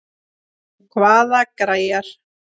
Hvaða gæjar?